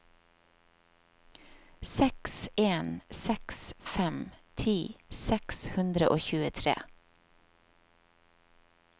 seks en seks fem ti seks hundre og tjuetre